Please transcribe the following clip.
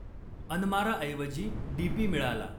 अनमाराऐवजी DP मिळाला.